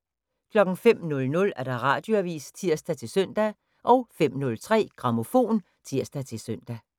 05:00: Radioavis (tir-søn) 05:03: Grammofon (tir-søn)